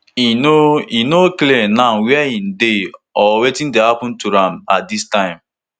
e no e no clear now wia im dey or wetn dey happun to am at dis time